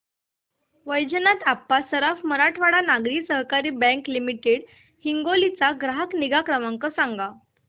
वैजनाथ अप्पा सराफ मराठवाडा नागरी सहकारी bank limited Hingoli चा ग्राहक निगा क्रमांक सांगा